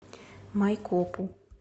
майкопу